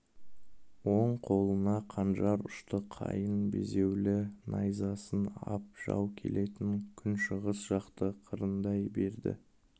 оң қолына қанжар ұшты қайың безеулі найзасын ап жау келетін күншығыс жақты қырындай берді